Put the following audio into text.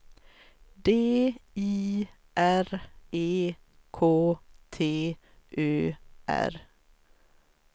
D I R E K T Ö R